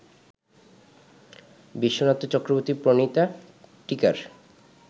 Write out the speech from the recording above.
বিশ্বনাথ চক্রবর্তী প্রণীতা টীকার